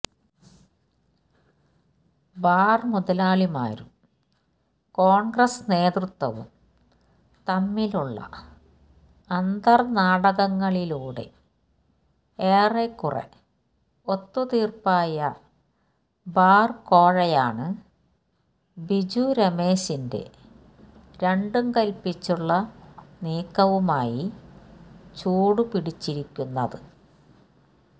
bar മുതലാളിമാരും കോണ്ഗ്രസ് നേതൃത്വവും തമ്മിലുള്ള അന്തര്നാടകങ്ങളിലൂടെ ഏറെക്കുറെ ഒത്തുതീര്പ്പായ ബാര്കോഴയാണ് ബിജു രമേശിന്റെ രണ്ടുംകല്പിച്ചുള്ള നീക്കവുമായി ചൂടുപിടിച്ചിരിക്കുന്നത്